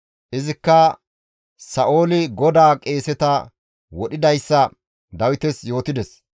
Izikka Sa7ooli GODAA qeeseta wodhidayssa Dawites yootides.